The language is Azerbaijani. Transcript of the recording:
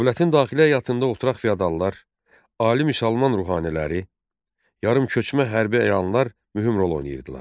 Dövlətin daxili həyatında oturaq feodallar, ali müsəlman ruhaniləri, yarımköçmə hərbi əyanlar mühüm rol oynayırdılar.